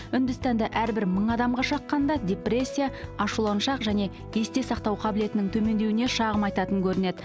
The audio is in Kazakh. үндістанда әрбір мың адамға шаққанда депрессия ашуланшақ және есте сақтау қабілетінің төмендеуіне шағым айтатын көрінеді